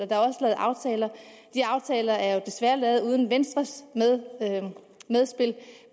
og lavet aftaler de aftaler er jo desværre lavet uden venstres medspil